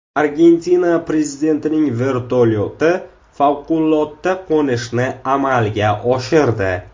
Argentina prezidentining vertolyoti favqulodda qo‘nishni amalga oshirdi.